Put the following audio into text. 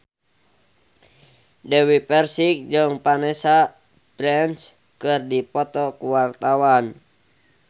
Dewi Persik jeung Vanessa Branch keur dipoto ku wartawan